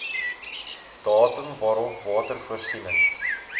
datum waarop watervoorsiening